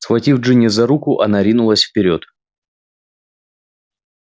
схватив джинни за руку она ринулась вперёд